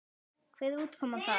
Hver var útkoman þar?